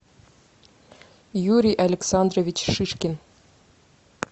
юрий александрович шишкин